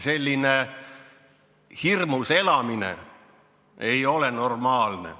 Selline hirmus elamine ei ole normaalne.